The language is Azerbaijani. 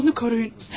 Onu koruyunuz.